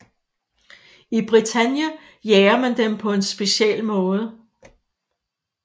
I Bretagne jager man dem på en speciel måde